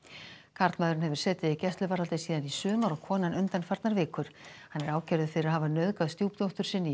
karlmaðurinn hefur setið í gæsluvarðhaldi síðan í sumar og konan undanfarnar vikur hann er ákærður fyrir að hafa nauðgað stjúpdóttur sinni í